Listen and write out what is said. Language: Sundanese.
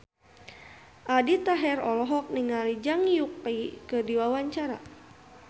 Aldi Taher olohok ningali Zhang Yuqi keur diwawancara